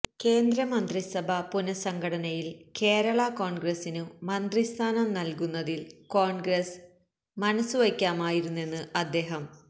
കന്ദ്ര മന്ത്രിസഭാ പുനഃസംഘടനയില് കേരള കോണ്ഗ്രസിനു മന്ത്രിസ്ഥാനം നല്കുന്നതില് കോണ്ഗ്രസ് മനസ്സുവയ്ക്കാമായിരുന്നെന്ന് അദ്ദേഹം